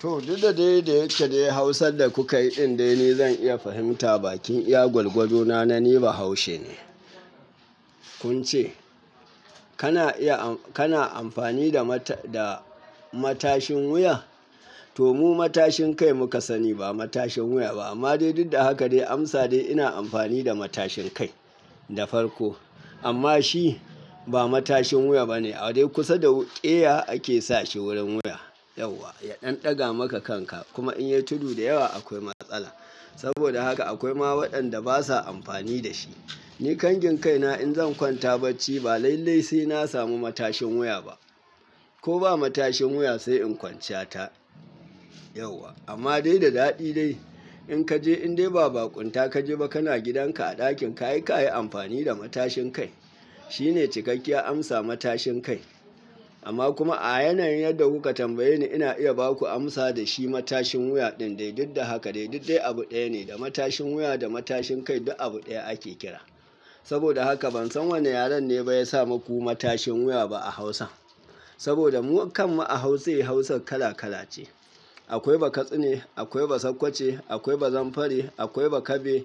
To, dai duk da yake dai Hausar da kuka yi din dai ni zan iya fahimta ba kin iya gwargwado na, na ni bahaushe ne. Kun ce, "Kana iya amfani da matashin wuya?" To, mu matashin kai muka sani ba matashin wuya ba. Amma dai duk da haka dai amsa dai ina amfani da matashin kai, da farko. Amma shi ba matashin wuya bane. A dai kusa da ƙeya ake sa shi wurin wuya. Yauwa, ya ɗan ɗaga maka kanka kuma in yai tudu da yawa akwai matsala. Saboda haka akwai ma waɗanda basa amfani da shi. Ni kangin kaina in zan kwanta bacci, ba lallai sai na samu matashin wuya ba. Ko ba matashin wuya sai in kwanciyata. Yauwa, amma dai da daɗi dai. In ka je indai ba baƙunta ka je ba kana gidan ka a ɗakin ka, ai ka yi amfani da matashin kai. Shi ne cikakken amsa matashin kai. Amma kuma a yanayin yadda kuka tambaye ni ina iya ba ku amsa da shi matashin wuya din dai duk da haka dai duk dai abu ɗaya ne. Da matashin wuya da matashin kai duk abu ɗaya ake kira. Saboda haka ban san wanne yaren ne ba ya sa muku matashin wuya ba a Hausa. Saboda mu kan mu a Hausa, Hausar kala kala ce. Akwai Bakatsine, akwai Basakkwace, akwai Bazamfari, akwai Bakabe,